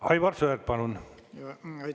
Aivar Sõerd, palun!